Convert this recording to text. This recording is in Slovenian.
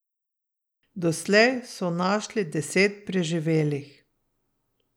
Doslej so našli deset preživelih.